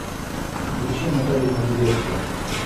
включи наталью могилевскую